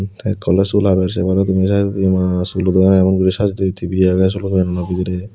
tey ekko oley sul haber sey paro tumi saaidodi maa sulo doganno emon guri saje toye tivi age sulo doganno bidirey.